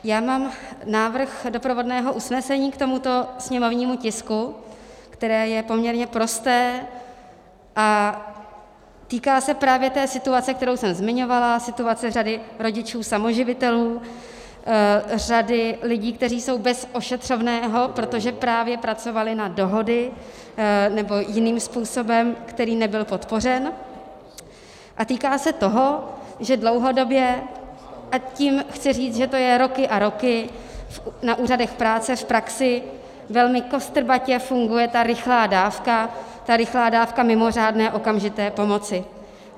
Já mám návrh doprovodného usnesení k tomuto sněmovnímu tisku, které je poměrně prosté a týká se právě té situace, kterou jsem zmiňovala, situace řady rodičů samoživitelů, řady lidí, kteří jsou bez ošetřovného, protože právě pracovali na dohody nebo jiným způsobem, který nebyl podpořen, a týká se toho, že dlouhodobě - a tím chci říct, že to je roky a roky - na úřadech práce v praxi velmi kostrbatě funguje ta rychlá dávka, ta rychlá dávka mimořádné okamžité pomoci.